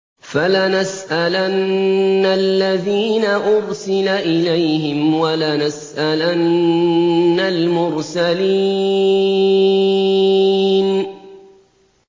فَلَنَسْأَلَنَّ الَّذِينَ أُرْسِلَ إِلَيْهِمْ وَلَنَسْأَلَنَّ الْمُرْسَلِينَ